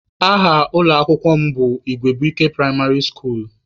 Aha ụlọ akwụkwọ mụ bụ Igwebuike pụraịmarị skuulu.